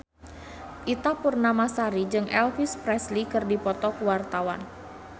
Ita Purnamasari jeung Elvis Presley keur dipoto ku wartawan